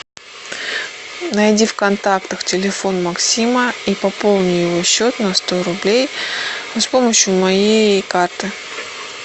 найди в контактах телефон максима и пополни его счет на сто рублей с помощью моей карты